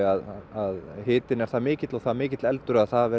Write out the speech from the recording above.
að hitinn er það mikill og það mikill eldur að það